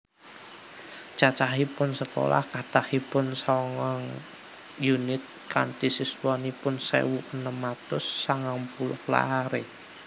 Cacahipun sekolah kathahipun sangang unit kanti siswanipun sewu enem atus sangang puluh lare